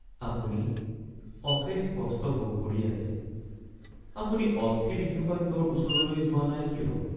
আপুনি অশেষ কষ্ট ভোগ কৰি আছে। আপুনি অস্থি বিশেষজ্ঞৰ ওচৰলৈ যোৱা নাই কিয়?